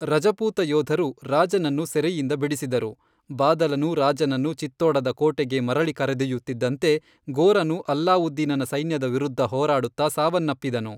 ರಜಪೂತ ಯೋಧರು ರಾಜನನ್ನು ಸೆರೆಯಿಂದ ಬಿಡಿಸಿದರು, ಬಾದಲನು ರಾಜನನ್ನು ಚಿತ್ತೋಡದ ಕೋಟೆಗೆ ಮರಳಿ ಕರೆದೊಯ್ಯುತ್ತಿದ್ದಂತೆ ಗೋರನು ಅಲ್ಲಾವುದ್ದೀನನ ಸೈನ್ಯದ ವಿರುದ್ಧ ಹೋರಾಡುತ್ತಾ ಸಾವನ್ನಪ್ಪಿದನು.